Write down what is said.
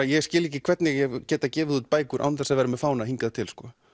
ég skil ekki hvernig ég hef getað gefið út bækur án þess að vera með fána hingað til sko